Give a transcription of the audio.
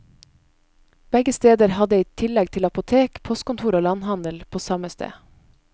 Begge steder hadde i tillegg til apotek, postkontor og landhandel på samme sted.